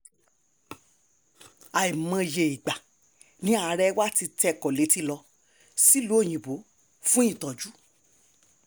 àìmọye ìgbà ni ààrẹ wà tí tẹkọ̀ létí lọ sílùú òyìnbó fún ìtọ́jú